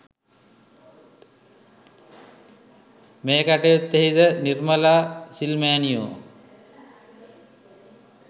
මේ කටයුත්තෙහිද නිර්මලා සිල් මෑණියෝ